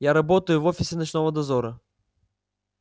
я работаю в офисе ночного дозора